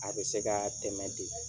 A bɛ se ka tɛmɛ ten